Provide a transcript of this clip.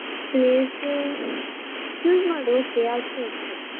Place ಸ್ಸು choose ಮಾಡು okay ಯಾವ್ದು ಸಾ okay.